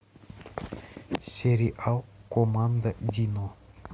сериал команда дино